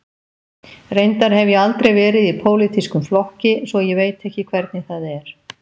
Reyndar hef ég aldrei verið í pólitískum flokki, svo ég veit ekki hvernig það er.